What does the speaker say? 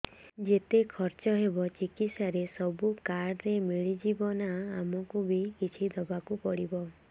ଯେତେ ଖର୍ଚ ହେବ ଚିକିତ୍ସା ରେ ସବୁ କାର୍ଡ ରେ ମିଳିଯିବ ନା ଆମକୁ ବି କିଛି ଦବାକୁ ପଡିବ